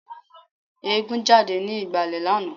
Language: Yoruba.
Eégún jáde ní ìgbàlẹ̀ lánàá